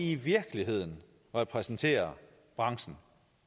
i virkeligheden repræsenterer branchen